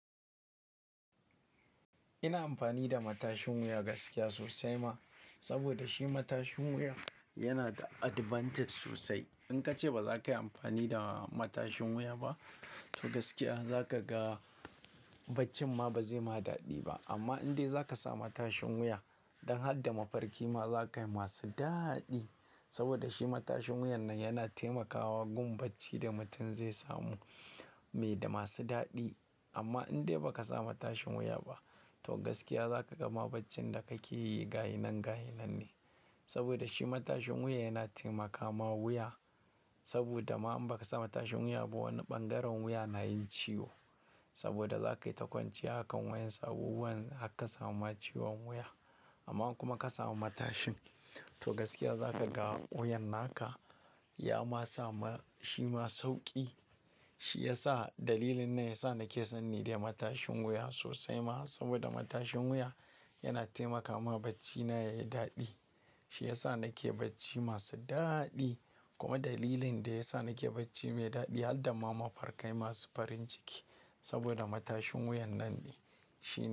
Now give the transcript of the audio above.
Ina amfani da matashin wuya gaskiya sosai ma, saboda shi matashin wuya yana da advantage sosai. In ka ce ba za ka yi amfani da matashin wuya ba, to gaskiya za ka ga bacci ma ba zai ma daɗi ba. Amma indai za ka samu matashin wuya, don harda mafarki ma za ka yi masu daɗi. Saboda shi matashin wuyan nan yana taimakawa gun bacci da mutum zai samu mai da masu daɗi. Amma indai ba ka samu matashin wuya ba, to gaskiya za ka ga ma baccin da ka ke yi gaya nan, gaya nan ne. Saboda shi matashin wuya yana taimaka ma wuya. Saboda ma in ba ka samu matashin wuya ba, wani ɓangaren wuya na yin ciwo. Saboda za ka yi ta kwanciya a kan wayansu abubuwan har ka samu ma ciwon wuya. Amma in kuma ka samu matashin, to gaskiya za ka ga wuyan naka ya ma samu shi ma sauƙi. Shi ya sa dalilin na ya sa na ke sanni dai matashin wuya sosai ma. Saboda matashin wuya yana taimaka ma bacci na ya yi daɗi. Shi ya sa na ke bacci masu daɗi. Kuma dalilin da ya sa na ke bacci mai daɗi har da ma mafarkai masu farin ciki. Saboda matashin wuyan nan ne shi ne.